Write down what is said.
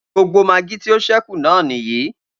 Gbogbo magí tí o ṣẹ́kù náà nìyí.